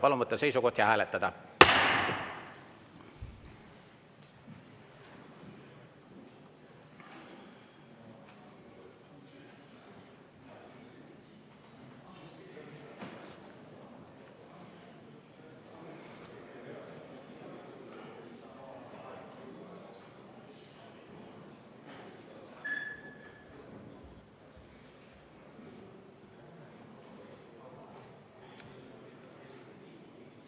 Palun võtta seisukoht ja hääletada!